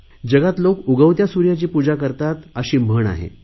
जगात लोक उगवत्या सुर्याची पूजा करतात अशी म्हण आहे